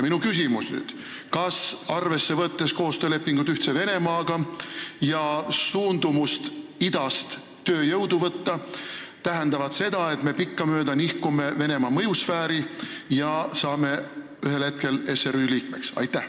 Minu küsimus on niisugune: kas koostööleping Ühtse Venemaaga ja suundumus idast tööjõudu vastu võtta tähendavad seda, et me nihkume pikkamööda Venemaa mõjusfääri ja saame ühel hetkel SRÜ liikmeks?